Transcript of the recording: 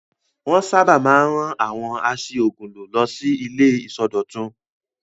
Wọ́n sábà máa ń rán àwọn a ṣí òògùn lò lọ sí àwọn ilé ìsọdọ̀tun.